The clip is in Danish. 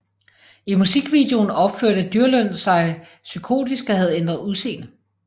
I musikvideoen opførte Dyrlund sig psykotisk og havde ændret udseende